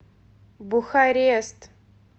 бухарест